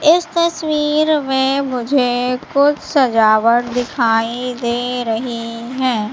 इस तस्वीर में मुझे कुछ सजावट दिखाई दे रही है।